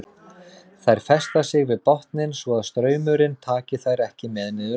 Þær festa sig við botninn svo að straumurinn taki þær ekki með niður ána.